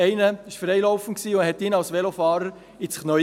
Einer war freilaufend und schnappte ihn als Velofahrer ins Knie.